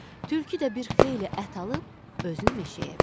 Tülkü də bir xeyli ət alıb özünü meşəyə verdi.